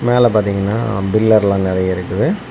மேல பாத்தீங்கன்னா பில்லர்ல்லா நறைய இருக்குது.